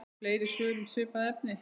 Fleiri svör um svipað efni